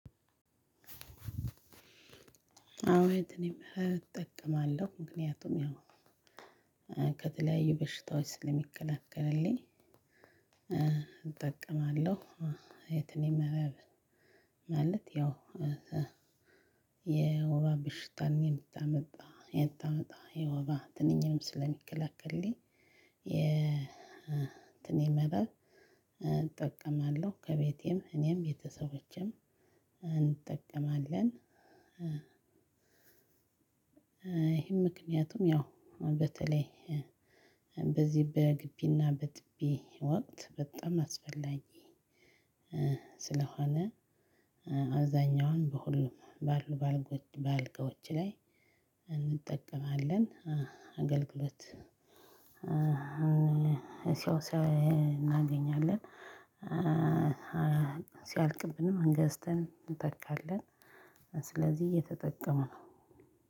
አዎ እኔም እጠቀማለሁ ምክንያቱም ያው ከተለያዩ በሽታዎች ስለሚከለክልልኝ እጠቀማለሁ። የትንኝ መረብ ማለት ያው የወባ በሽታን የምታመጣ የምታመጣ የወባ ትንኝንም ስለሚከለክልልኝ። የ ትንኝ መረብ እጠቀማለሁ ከቤቴም እኔም ቤተሰቦቼም እንጠቀማለን። ይሄም ምክንያቱም ያው በተለይ በዚህ በግቢና በጥቢ ወቅት በጣም አስፈላጊ ስለሆነ። አብዛኛውን በሁሉም ባሉ በአልጋወች ላይ እንጠቀማለን። አገልግሎት ሰው ለይ እናገኛለን። ሲያልቅብንም እንገዝተን እንተካለን። ስለዚህ እየተጠቀምን ነው